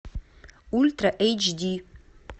ультра эйч ди